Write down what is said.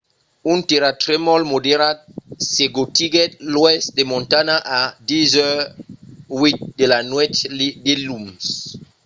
un tèrratremol moderat secotiguèt l'oèst de montana a 10:08 de la nuèch diluns